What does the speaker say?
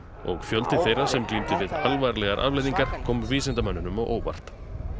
og fjöldi þeirra sem glímdi við alvarlegar afleiðingar kom vísindamönnunum á óvart